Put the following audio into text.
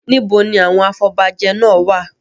Níbo ni àwọn afobajẹ náà wà?